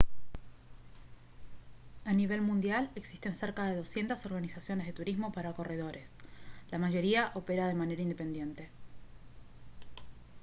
a nivel mundial existen cerca de 200 organizaciones de turismo para corredores la mayoría opera de manera independiente